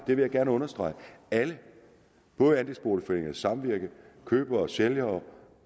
vil jeg gerne understrege både andelsboligforeningen samvirke købere og sælgere